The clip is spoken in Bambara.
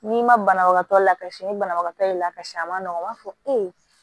N'i ma banabagatɔ lakalisi ni banabagatɔ ye lakasi a ma nɔgɔn n b'a fɔ ee